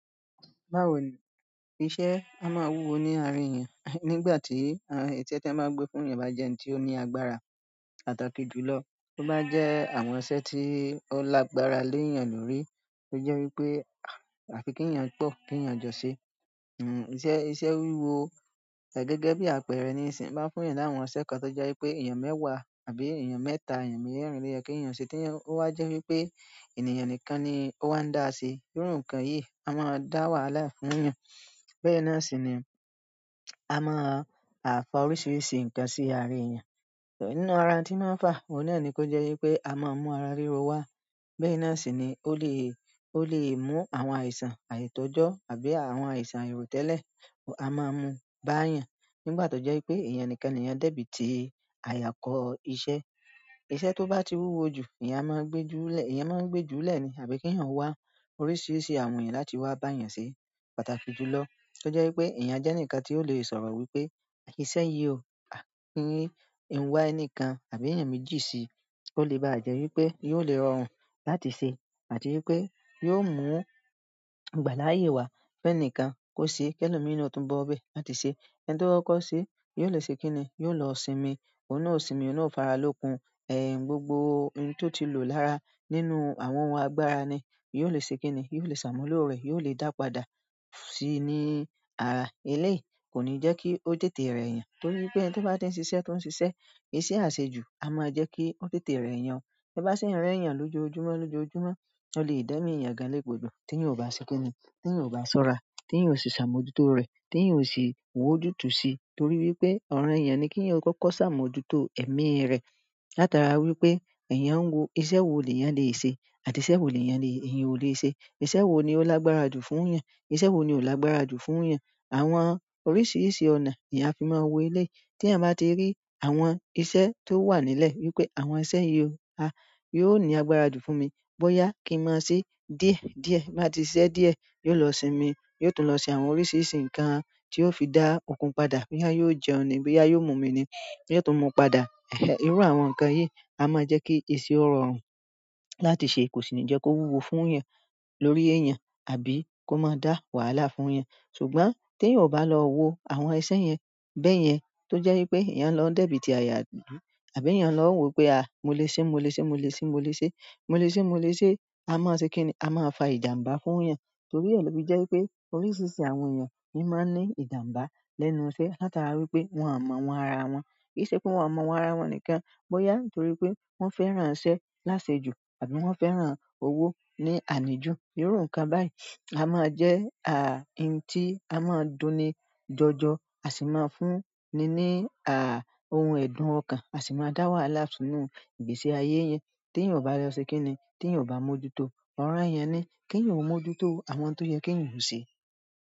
Báwo ni iṣẹ́ a máa wúwo ní àárín èèyàn, nígbà tí iṣẹ́ tí a máa gbé fún èèyàn bá jẹ́ ẹniti ó ní agbára pàtàkì jù lọ, tí ó bá jẹ́ àwọn iṣẹ́ tí ó lágbára léèyàn lórí. Ó jẹ́ wípé àfiki èèyàn pọ̀ kí èèyàn jọ ṣe. Iṣẹ́, iṣẹ́ wúwo gẹ́gẹ́ bí àpẹẹrẹ ní ìsìn, bá fún èèyàn láwọn iṣẹ́ kan tó jẹ́ wípé èèyàn mẹ́wàá àbí èèyàn mẹ́ta, èèyàn merín lo yẹ kí èèyàn ṣe tí ó bá jẹ́ wípé ènìyàn nìkan ni ó máa ń dáa sí. Irú nǹkan yìí a máa dá wàhálà fún èèyàn. Bẹ́ẹ̀ náà sì ni a máa fà oríṣiríṣi nǹkan sí aara èèyàn. Nínú ara tí màá fà, òun náà ni kó jẹ́ wípé a máa mú ara ríro wá. Bẹ́ẹ̀ni náà sì ni ó lè, ó lè mú àwọn àìsàn àìtójọ́ àbí àwọn àìsàn ìròtẹ́lẹ̀ a máa mú bá èèyàn. Nígbà tó jẹ́ wípé èèyàn nìkan ni èèyàn débí ti àyàkọ́ iṣẹ́. Iṣẹ́ tó bá ti wúwo jù, èèyàn máa ń gbé júlọ́, èèyàn máa ń gbé júlẹ́ ni àbí kí èèyàn wá oríṣiríṣi àwọn èèyàn láti wá bá èèyàn ṣe pàtàkì jù lọ. Tí ó jẹ́ wípé èèyàn jẹ́ ẹnìkan tí ó lè sọ̀rọ̀ wípé "iṣẹ́ yìí o, kí ń wá ẹnìkan àbí èèyàn méjì sí i." Ó lè bá jẹ́ wípé yóò lè rọrùn láti ṣe àti wípé yóò mú ìgbà láàyè wá fún ẹnìkan kó ṣe. Kẹ́lọ́ mi ni ó tún bọ́ ọ́ bẹ́ẹ̀ láti ṣe. Ẹni tí ó kọ́ ọ́ ṣe, yóò lè ṣe kín ni, yóò lọ sinmi. Òun náà ó sinmi, òun náà ó fara lókun. Ẹ̀hẹn, gbogbo ohun tí ó ti lò lára nínú àwọn ohun agbára ni, yóò lè ṣe kín ni, yóò lè ṣàmúlò rẹ̀, yóò lè dàá padà sí ní ara. Eléyìí kò ní jẹ́ kí ó tètè rẹ èèyàn, torí pé ẹni tí ó bá ti ń ṣiṣẹ́, tó ń ṣiṣẹ́, iṣẹ́ àṣejù a máa jẹ́ kí ó tètè rẹ èèyàn. Bí bá ṣe ń rẹ èèyàn lójoojúmọ́, lójoojúmọ́, ó lè dẹ́mí èèyàn ga lé gbodo tí èèyàn kò bá ṣe kín ni, tí èèyàn kò bá ṣọ́ra, tí èèyàn kò ṣe ṣàmójútó rẹ̀, tí èèyàn kò ṣe wò jú tú sí i, torí wípé ọ̀royàn ni kí èèyàn kọ́kọ́ ṣàmójútó ẹ̀mí rẹ̀. Látara wi pe, eeyan un wo iṣẹ́ wo leyan lese àti iṣẹ́ wo leyan o le se. Iṣẹ́ wo ni ó lágbára jù fún èèyàn? Iṣẹ́ wo ni ò lágbára jù fún èèyàn? Àwọn oríṣiríṣi ọ̀nà ni a fi máa wo eléyìí. Tí èèyàn bá ti rí àwọn iṣẹ́ tó wà nílẹ̀ wípé àwọn iṣẹ́ yìí o, a yóò ní agbára jù fún mi. Bóyá kí n máa ṣe díẹ̀ díẹ̀, bá ti ṣe díẹ̀, yóò lọ sinmi, yóò tún lọ sin àwọn oríṣiríṣi nǹkan tí ó fi dá òkun padà, kí èèyàn yóò jẹun ni, kí èèyàn yóò mú mi ni, yóò tún mú padà. Ẹ̀hẹn, irú àwọn nǹkan yìí a máa jẹ́ kí ìṣe ó rọrùn láti ṣe. Kò sì ní jẹ́ kó wúwo fún èèyàn lórí èèyàn àbí kó máa dá wàhálà fún èèyàn. Ṣùgbọ́n tí èèyàn kò bá lọ wo àwọn iṣẹ́ yẹn bẹ́ẹ̀ yẹn, tó jẹ́ wípé èèyàn lọ débí ti àyà àdúgbò àbí èèyàn lọ wò pé "a, mo lè ṣe, mo lè ṣe, mo lè ṣe, mo lè ṣe, mo lè ṣe, mo lè ṣe." A máa ṣe kín ni, a máa fa ìjàǹbá fún èèyàn, torí èlò bí i jẹ́ wípé oríṣiríṣi àwọn èèyàn ni máa ń ní ìjàǹbá lẹ́nu iṣẹ́ látara wípé wọ́n à mọ̀ àwọn ara wọn. Kì í ṣe pé wọ́n à mọ̀ àwọn ara wọn nìkan, bóyá nítorí pé wọ́n fẹ́ràn iṣẹ́ láṣejù àbí wọ́n fẹ́ràn owó ní àníjù. Irú nǹkan báyìí a máa jẹ́ à í tí a máa ń dùn ni jọjọ, a sì máa ń fún ni ní à ohun ẹ̀dùn ọkàn, a sì máa dá wàhálà fúnú ìgbésí ayé yẹn tí èèyàn kò bá lọ ṣe kín ni, tí èèyàn kò bá mójútó ọ̀rẹ́ èèyàn ni, kí èèyàn ó mójútó àwọn tó jẹ́ kí èèyàn hú ṣe.